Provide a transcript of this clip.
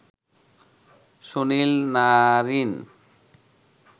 Sunil Narine